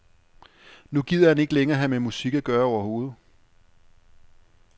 Nu gider han ikke længere have med musik at gøre overhovedet.